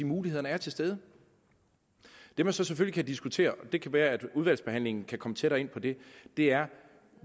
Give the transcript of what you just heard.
mulighederne er til stede det man så selvfølgelig kan diskutere det kan være at udvalgsbehandlingen kan komme tættere ind på det det er